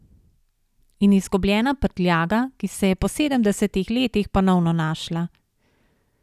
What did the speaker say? In izgubljena prtljaga, ki se je po sedemdesetih letih ponovno našla.